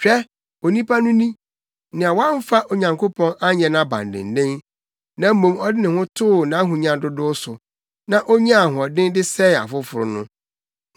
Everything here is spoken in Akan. “Hwɛ, onipa no ni, nea wamfa Onyankopɔn anyɛ nʼabandennen na mmom ɔde ne ho too nʼahonya dodow so, na onyaa ahoɔden de sɛee afoforo no!”